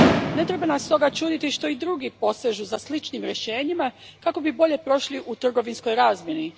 Ne treba nas stoga čuditi to što i drugi posežu za sličnim rješenjima kako bi bolje prošli u trgovinskoj razmjeni.